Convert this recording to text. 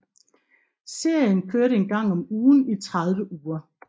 Serien kørte en gang om ugen i tredive uger